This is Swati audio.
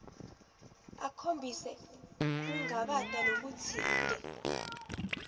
akhombise kungabata lokutsite